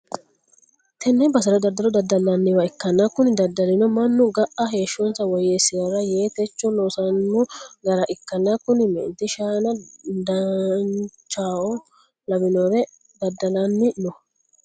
tenne basera daddalo daddallanniwa ikkanna, kuni daddalino mannu ga'a heeshshonsa woyyeessi'rara yee techo loosanno gara ikkanna, kuni meenti shaana dinnichao lawinore daddalanni no.